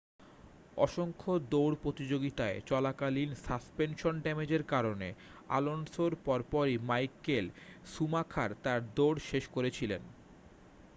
অসংখ্য দৌড় প্রতিযোগিতায় চলাকালীন সাসপেনশন ড্যামেজের কারণে অ্যালোনসোর পর পরই মাইকেল শুমাখার তাঁর দৌড় শেষ করেছিলেন